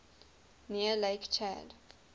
near lake chad